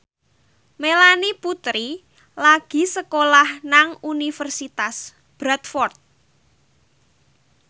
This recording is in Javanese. Melanie Putri lagi sekolah nang Universitas Bradford